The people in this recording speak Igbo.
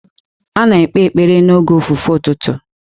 A na-ekpe ekpere n'oge ofufe ụtụtụ.